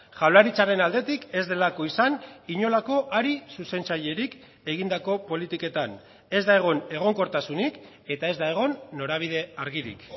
jaurlaritzaren aldetik ez delako izan inolako hari zuzentzailerik egindako politiketan ez da egon egonkortasunik eta ez da egon norabide argirik